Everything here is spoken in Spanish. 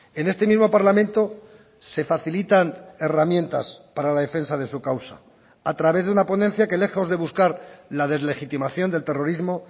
en este mismo parlamento se facilitan herramientas para la defensa de su causa a través de una ponencia que lejos de buscar la deslegitimación del terrorismo